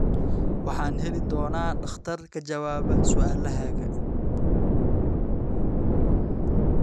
Waxaan heli doonaa dhakhtar ka jawaaba su'aalahaaga.